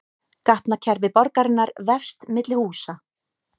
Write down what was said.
Gatnakerfi borgarinnar vefst milli húsa